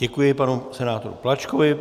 Děkuji panu senátorovi Plačkovi.